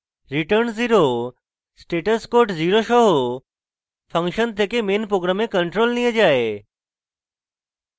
return 0 status code 0 সহ function থেকে main program control নিয়ে যায়